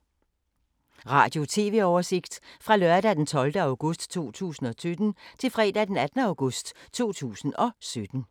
Radio/TV oversigt fra lørdag d. 12. august 2017 til fredag d. 18. august 2017